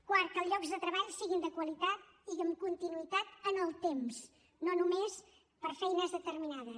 quart que els llocs de treball siguin de qualitat i amb continuïtat en el temps no només per a feines determinades